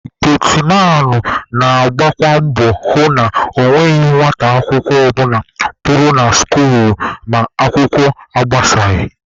Getiman na-agbakwa mbọ hụ na ọ nweghị nwata akwụkwọ ọbụla pụrụ na skuul ma akwụkwọ agbasaghị